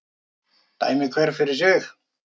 Dæmi hver fyrir sig